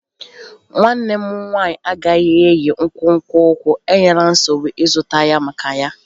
Nwanne m nwanyị agaghị eyi nkwonkwo ụkwụ, enyela nsogbu ịzụta ya maka ya